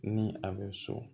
Ni a bɛ so